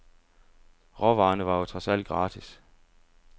Råvarerne var jo trods alt gratis.